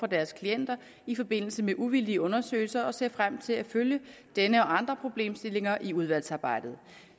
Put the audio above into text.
deres klienter i forbindelse med uvildige undersøgelser og ser frem til at følge denne og andre problemstillinger i udvalgsarbejdet